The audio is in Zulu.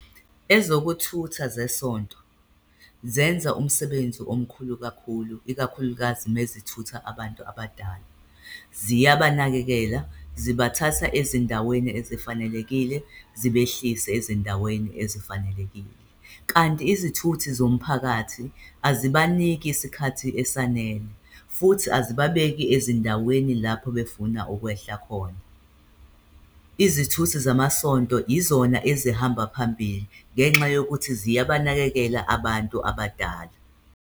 Ezokuthutha zesonto zenza umsebenzi omkhulu kakhulu, ikakhulukazi mezithutha abantu abadala, ziya banakekela. Zibathatha ezindaweni ezifanelekile, zibehlise ezindaweni ezifanelekile kanti izithuthi zomphakathi azibaniki isikhathi esanele futhi azibabeki ezindaweni lapho befuna ukwehla khona. Izithuthi zamasonto izona ezihamba phambili ngenxa yokuthi ziyabanakekela abantu abadala.